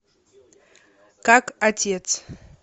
как отец